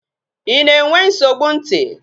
Ị na-enwe nsogbu ntị?